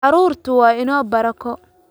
Carruurtu waa inoo barako